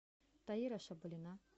таира шабалина